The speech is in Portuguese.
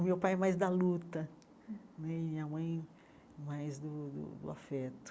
O meu pai é mais da luta né, e a minha mãe mais do do do afeto.